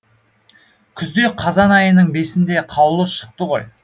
күзде қазан айының бесінде қаулы шықты ғой